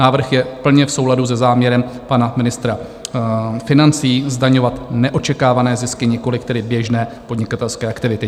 Návrh je plně v souladu se záměrem pana ministra financí zdaňovat neočekávané zisky, nikoliv tedy běžné podnikatelské aktivity.